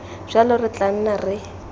jalo re tla nna re